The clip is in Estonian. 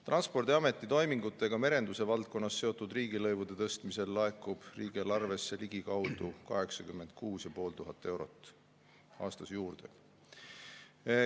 Transpordiameti toimingutega merenduse valdkonnas seotud riigilõivude tõstmisel laekub riigieelarvesse ligikaudu 86 500 eurot aastas juurde.